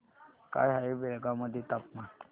काय आहे बेळगाव मध्ये तापमान